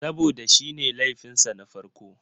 Saboda shi ne laifin sa na farko.